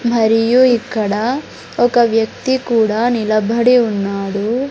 మరియు ఇక్కడ ఒక వ్యక్తి కూడా నిలబడి ఉన్నాడు.